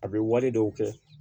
A bɛ wale dɔw kɛ